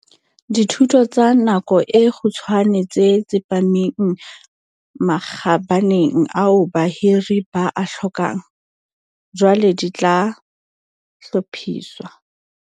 Dithuto tsa nako e kgutshwane tse tsepameng makgabaneng ao bahiri ba a hlokang, jwale di tla hlophiswa.